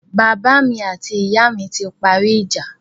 Bàbá mi àti ìyá mi ti parí ìjà